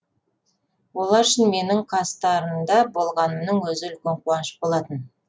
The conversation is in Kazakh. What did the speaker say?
олар үшін менің қастарында болғанымның өзі үлкен қуаныш болатын